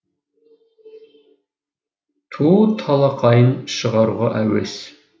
ту талақайын шығаруға әуес